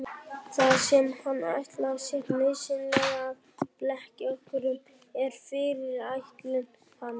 Það sem hann ætlar sér nauðsynlega að blekkja okkur um er fyrirætlun hans.